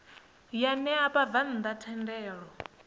ya ṋea vhabvann ḓa thendelo